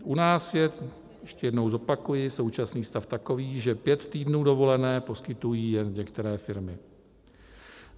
U nás je, ještě jednou zopakuji, současný stav takový, že pět týdnů dovolené poskytují jen některé firmy.